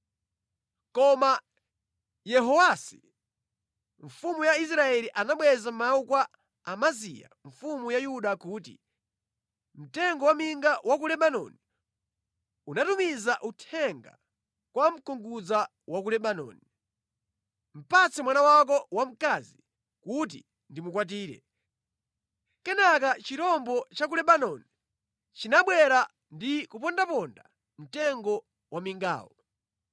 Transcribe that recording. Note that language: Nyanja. Koma Yehowasi mfumu ya Israeli anabweza mawu kwa Amaziya mfumu ya Yuda kuti, “Mtengo wa minga wa ku Lebanoni unatumiza uthenga kwa mkungudza wa ku Lebanoni. ‘Patse mwana wako wamkazi kuti ndimukwatire.’ Kenaka chirombo cha ku Lebanoni chinabwera ndi kupondaponda mtengo wa mingawo.